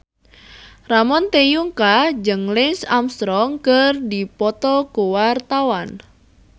Ramon T. Yungka jeung Lance Armstrong keur dipoto ku wartawan